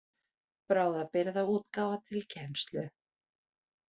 Bráðabirgðaútgáfa til kennslu.